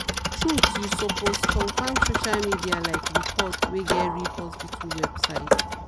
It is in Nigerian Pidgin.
truth you supoosed confirm social media like report wey get real hospital website.